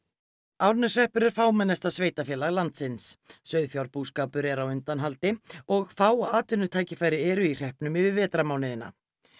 Árneshreppur er fámennasta sveitarfélag landsins sauðfjárbúskapur er á undanhaldi og fá atvinnutækifæri eru í hreppnum yfir vetrarmánuðina